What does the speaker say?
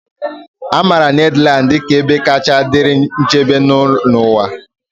A maara Netherlands dị ka ebe kacha dịrị nchebe n'ụwa.